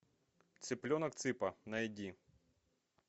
цыпленок цыпа найди